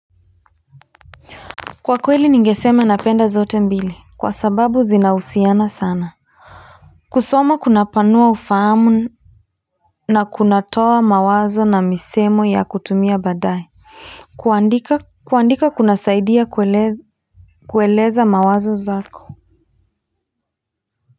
Kwa kweli ningeseme napenda zote mbili, kwa sababu zinahusiana sana. Kusoma kuna panua ufahamu na kunatoa mawazo na misemo ya kutumia baadae. Kuandika kuna saidia kueleza mawazo zako.